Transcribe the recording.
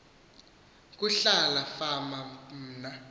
kuhlala fama mna